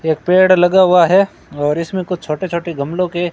एक पेड़ लगा हुआ है और इसमें कुछ छोटे छोटे गमलो के--